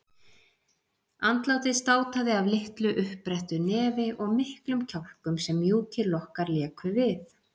Andlitið státaði af litlu uppbrettu nefi og miklum kjálkum sem mjúkir lokkar léku við.